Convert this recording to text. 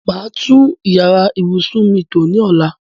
Màá tún yàrá ìbùsùn mi tò ní ọ̀la.